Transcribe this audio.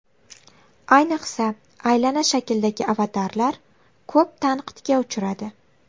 Ayniqsa aylana shakldagi avatarlar ko‘p tanqidga uchradi.